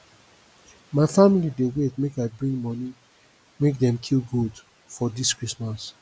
my family dey wait make i bring moni make dem kill goat for dis christmas